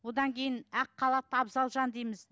одан кейін ақ халатты абзал жан дейміз